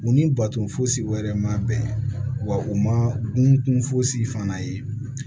U ni baton fosi wɛrɛ ma bɛn wa u ma dun fosi fana ye